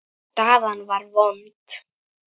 Staðan var vond.